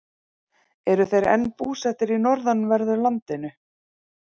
Eru þeir enn búsettir í norðanverðu landinu.